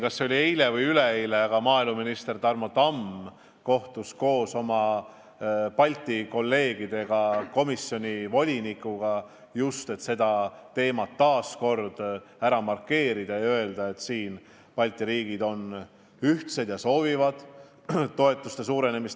Kas eile või üleeile kohtus maaeluminister Tarmo Tamm koos oma Balti kolleegidega komisjoni volinikuga, et seda teemat taas arutada ja kinnitada, et Balti riigid on ühtsed ja soovivad toetuste suurendamist.